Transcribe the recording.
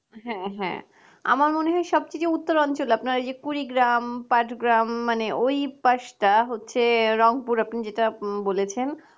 হ্যাঁ হ্যাঁ আমার মনে হয় সবথেকে উত্তর অঞ্চলে আপনার যে কুড়ি গ্রাম পাদক গ্রাম মানে ওই পাসটা হচ্ছে রংপুর আপনি যেটা বলেছেন